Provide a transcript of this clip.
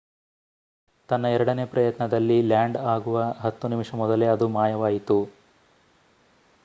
ತನ್ನ ಎರಡನೇ ಪ್ರಯತ್ನದಲ್ಲಿ ಲ್ಯಾಂಡ್ ಆಗುವ ಹತ್ತು ನಿಮಿಷ ಮೊದಲೇ ಅದು ಮಾಯವಾಯಿತು